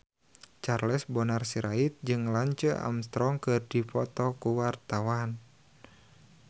Charles Bonar Sirait jeung Lance Armstrong keur dipoto ku wartawan